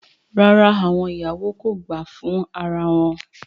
Rara, awọn iyawo ko gba fun ara wọn